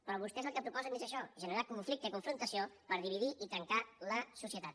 però vostès el que proposen és això generar conflicte i confrontació per dividir i trencar la societat